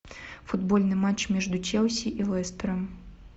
футбольный матч между челси и лестером